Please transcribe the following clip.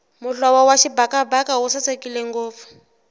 muhlovo wa xibakabaka wu sasekile ngopfu